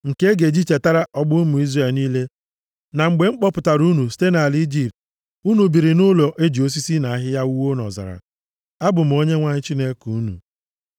Nke a ga-echetara ọgbọ ụmụ Izrel niile na mgbe m kpọpụtara unu site nʼala Ijipt, unu biri nʼụlọ e ji osisi na ahịhịa wuo nʼọzara. Abụ m Onyenwe anyị Chineke unu.’ ”